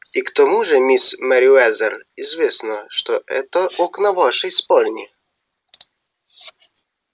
и к тому же мисс мерриуэзер известно что это окна вашей спальни